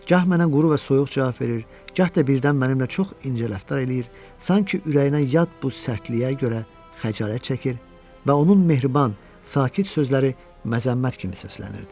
Gah mənə quru və soyuq cavab verir, gah da birdən mənimlə çox incə rəftar eləyir, sanki ürəyinə yad bu sərtliyə görə xəcalət çəkir və onun mehriban, sakit sözləri məzəmmət kimi səslənirdi.